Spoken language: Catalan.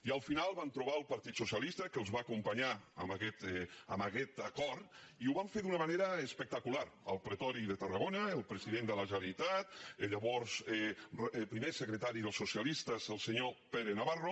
i al final van trobar el partit socialista que els va acompanyar en aquest acord i ho van fer d’una mane·ra espectacular al pretori de tarragona el president de la generalitat el llavors primer secretari dels so·cialistes el senyor pere navarro